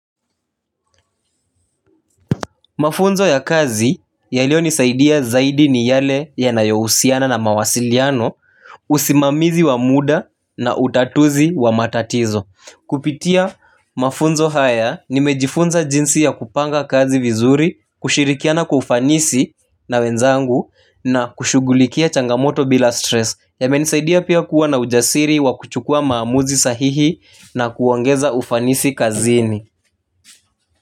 Mafunzo ya kazi yaliyonisaidia zaidi ni yale yanayohusiana na mawasiliano, usimamizi wa muda na utatuzi wa matatizo. Kupitia mafunzo haya, nimejifunza jinsi ya kupanga kazi vizuri, kushirikiana kwa ufanisi na wenzangu, na kushughulikia changamoto bila 'stress'. Yamenisaidia pia kuwa na ujasiri wa kuchukua maamuzi sahihi, na kuongeza ufanisi kazini.